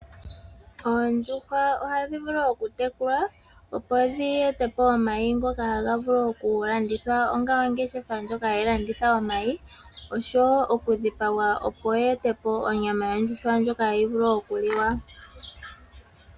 Oondjuhwa ohadhi vulu okutekulwa, opo dhi etepo omayi ngoka haga vulu okulandithwa onga ongeshefa ndjoka hayi landitha omayi, oshowo okudhipagwa opo yeetepo onyama yondjuhwa ndyoka hayi vulu okuliwa.